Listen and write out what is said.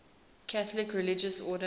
catholic religious order